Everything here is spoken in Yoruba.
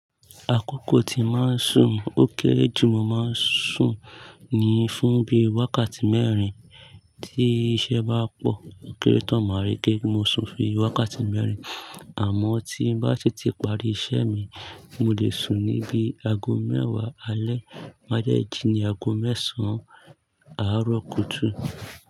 Àkókò tí màá sùn ó kéré jù mọ̀ màá sùn ni fún bí i wákàtí mẹ́rin. Tí iṣẹ́ bá pọ̀, kéré tán, màá rí pé mo sùn fi wákàtí mẹ́rin. Àmọ́ tí n bá tètè parí iṣẹ́ mi, mo lè sùn ní bí i aago mẹ́wàá alẹ́ má dẹ́ jí ní aago mẹ́sàn-án àárọ̀ kùtù.